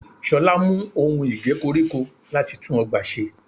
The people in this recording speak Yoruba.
Ṣolá mú ohun Ige koríko láti tún ọgbà ṣe.